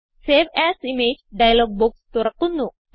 save as image dialog box തുറക്കുന്നു